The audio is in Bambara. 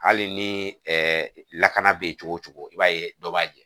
Hali ni lakana bɛ yen cogo cogo i b'a ye dɔ b'a jɛ